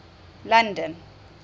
london